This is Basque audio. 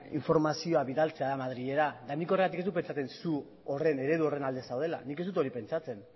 informazioa bidaltzea da madrilera nik horregatik ez dut pentsatzen zu eredu horren alde zaudela nik ez dut hori pentsatzen